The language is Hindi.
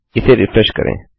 इसे रिफ्रेश करें